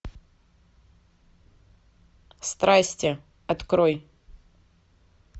страсти открой